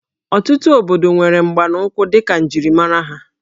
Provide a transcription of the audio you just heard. Ọtụtụ obodo nwere mgbanaụkwụ dịka njirimara ha